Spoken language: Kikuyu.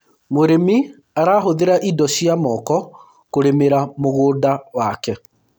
mũrĩmi arahuthira indo cia moko kũrĩmira mũgũnda wake